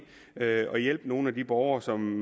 og hjælpe nogle af de borgere som